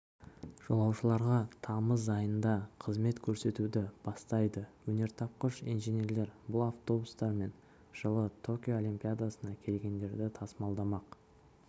жолаушыларға тамыз айында қызмет көрсетуді бастайды өнертапқыш инженерлер бұл автобустармен жылы токио олимпиадасына келгендерді тасымалдамақ